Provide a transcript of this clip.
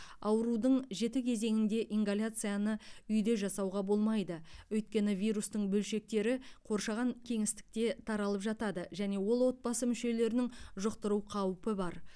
аурудың жеті кезеңінде ингаляцияны үйде жасауға болмайды өйткені вирустың бөлшектері қоршаған кеңістікте таралып жатады және ол отбасы мүшелерінің жұқтыру қаупі бар